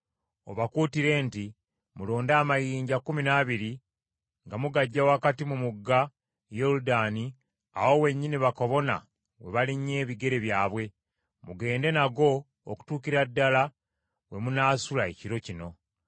Obakuutire nti, “Mulonde amayinja kkumi n’abiri nga mugaggya wakati mu mugga Yoludaani awo wennyini bakabona we balinnye ebigere byabwe, mugende nago okutuukira ddala we munaasula ekiro kino.”